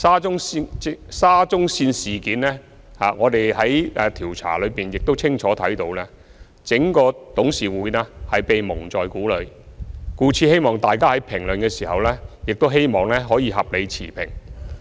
就沙中線事件，我們在調查中亦清楚看到，整個董事局是被蒙在鼓裏，故此希望大家在評論時可以合理持平。